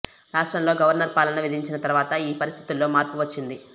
రాష్ట్రంలో గవర్నర్ పాలన విధించిన తర్వాత ఈ పరిస్థితుల్లో మార్పు వచ్చింది